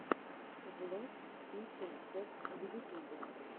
влог итин фокс в ютубе